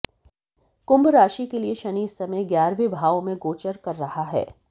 कुंभ राशि के लिए शनि इस समय ग्यारहवें भाव में गोचर कर रहा है